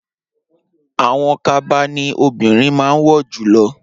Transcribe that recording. Awọn kaba ni obirin máa wọ julọ